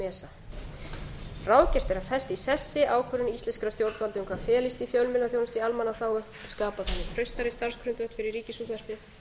esa ráðgert er að festa í sessi ákvörðun íslenskra stjórnvalda um hvað felist í fjölmiðlaþjónustu í almannaþágu skapa þar með traustari starfsgrundvöll fyrir ríkisútvarpið